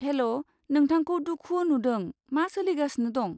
हेल', नोंथांखौ दुखु नुदों, मा सोलिगासिनो दं?